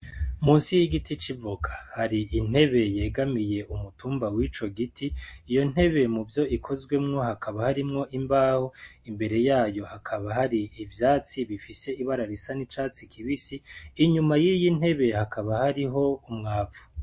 Musi y' igiti c' ivoka hari intebe yegamiye umutumba w'ico giti iyo ntebe muvyo ikozwemwo hakaba harimwo imbaho imbere yayo hakaba hari ivyatsi bifise ibara risa n' icatsi kibisi inyuma y' iyi ntebe hakaba hariho umwavu.